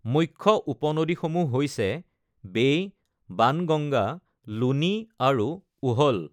মুখ্য উপনদীসমূহ হৈছে বেই, বাণগংগা, লুনি আৰু উহল।